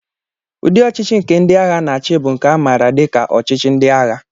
Ụdị ọchịchị nke ndị agha na-achị bụ nke a maara dị ka ọchịchị ndị ághà